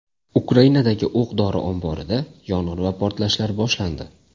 Ukrainadagi o‘q-dori omborida yong‘in va portlashlar boshlandi .